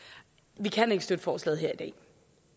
vi kan ikke støtte forslaget her